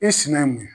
I sinɛ ye mun ye